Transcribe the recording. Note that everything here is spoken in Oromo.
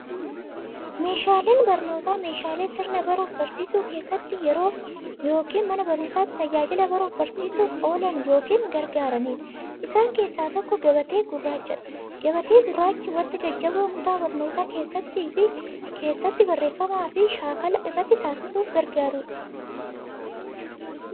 Meeshaaleen barnootaa meeshaalee sirna baruuf barsiisuu keessatti yookiin Mana baruumsatti tajaajila baruuf barsiisuuf oolan yookiin gargaaraniidha. Isaan keessaa tokko, gabatee gurraachadha. Gabatee gurraachi wanta jajjaboo kutaa barnootaa keeessatti, barreeffamaafi shaakala irratti taasisuuf gargaarudha.